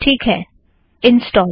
ठीक है - इंस्टॉल